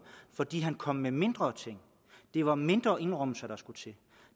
fordi han kom med mindre ting det var mindre indrømmelser der skulle til